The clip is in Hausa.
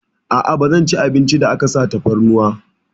A'a, ba zan ci abincin da aka sa tafarnuwa.